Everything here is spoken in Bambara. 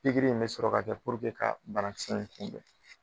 pikiri in bɛ sɔrɔ ka kɛ ka banakisɛ in kunbɛn